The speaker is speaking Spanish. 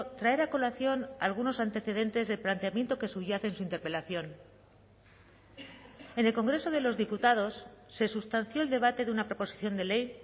traer a colación algunos antecedentes del planteamiento que subyace en su interpelación en el congreso de los diputados se sustanció el debate de una proposición de ley